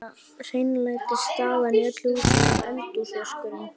Eina hreinlætisaðstaðan í öllu húsinu var eldhúsvaskurinn.